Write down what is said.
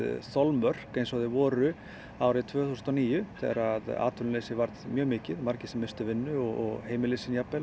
þolmörk eins og þeir voru árið tvö þúsund og níu þegar atvinnuleysi var mjög mikið og margir misstu vinnu og heimili sín jafnvel